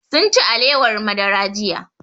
Sunci alewar madara jiya